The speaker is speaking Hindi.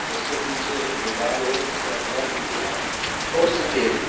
उससे पीछे एक गोदाम है। जिसका कलर नीला और सफेद है।